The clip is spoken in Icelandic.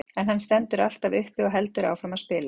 En hann stendur alltaf uppi og heldur áfram að spila.